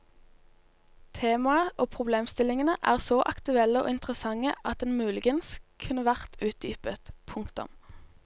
Temaet og problemstillingene er så aktuelle og interessante at den muligens kunne vært utdypet. punktum